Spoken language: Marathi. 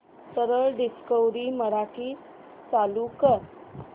सरळ डिस्कवरी मराठी चालू कर